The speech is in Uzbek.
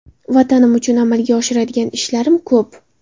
Vatanim uchun amalga oshiradigan ishlarim ko‘p.